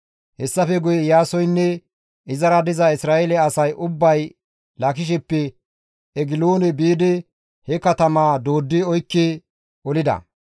Hessafe guye Iyaasoynne izara diza Isra7eele asay ubbay Laakisheppe Egiloone biidi he katamaa dooddi oykki olida.